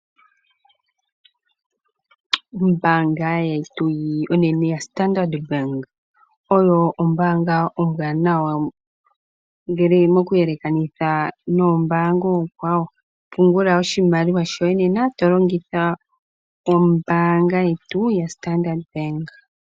Ombaanga yetu onene ya Standard Bank oyo ombaanga ombwanawa ngele mokuyelekanitha noombanga oonkwawo. Pungula oshimaliwa shoye nena to longitha ombaanga yetu ya Standard Bank.